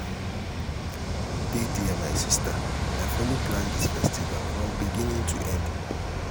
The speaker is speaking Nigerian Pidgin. dey there my sister i follow plan dis dis festival from beginning to end.